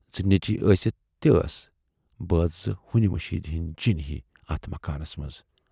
زٕ نیچوِۍ ٲسِتھ تہِ ٲسۍ بٲژ زٕ ہُنۍ مٔشیٖد ہٕندۍ جِن ہِوِۍ اتھ مکانس منز۔